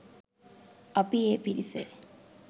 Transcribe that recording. අපි ඒ පිරිසේ